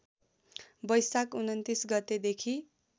बैशाख २९ गतेदेखि